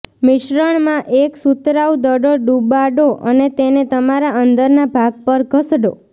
મિશ્રણમાં એક સુતરાઉ દડો ડૂબાડો અને તેને તમારા અંદરના ભાગ પર ઘસડો